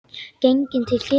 Genginn til kirkju.